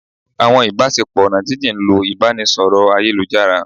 awọn ibasepo oná jin-jin ń lo ibaraẹnisọrọ ayélujará.